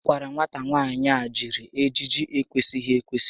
A gwara nwata nwaanyị a jiri ejiji n'ekwesịghị ekwesị